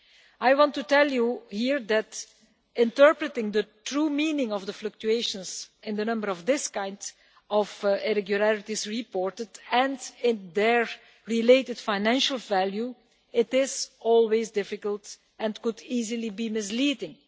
I want to tell you here that interpreting the true meaning of the fluctuations in the number of this kind of irregularities reported and in their related financial value is always difficult and could easily be misleading.